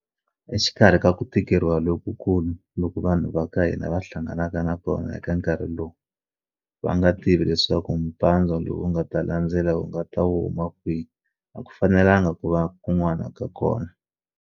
Exikarhi ka ku tikeriwa lokukulu loku vanhu va ka hina va hlanganaka na kona eka nkarhi lowu, va nga tivi leswaku mpandzwa lowu nga ta landzela wu nga ta wu huma kwihi a ku fanelanga ku va kun'wana ka kona.